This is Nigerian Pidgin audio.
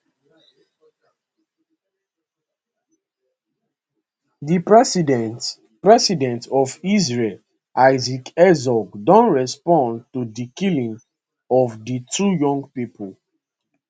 di president president of israel isaac herzog don respond to di killing of di two young pipo